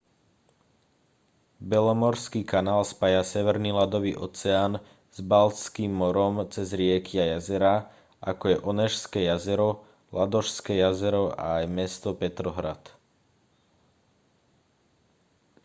belomorský kanál spája severný ľadový oceán s baltským morom cez rieky a jazerá ako je onežské jazero ladožské jazero a aj mesto petrohrad